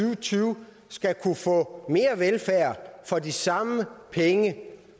og tyve skal kunne få mere velfærd for de samme penge